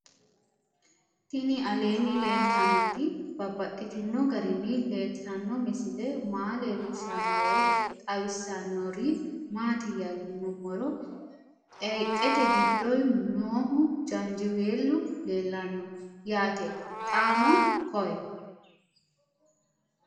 Tinni aleenni leelittannotti babaxxittinno garinni leelittanno misile maa leelishshanno woy xawisannori maattiya yinummoro xeeqette giddo noohu janjiweelu leelanno yaatte xaanno koye